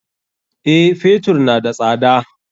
Eh, Fetur na da tsada.